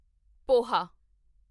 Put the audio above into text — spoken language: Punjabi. ਪੋਹਾ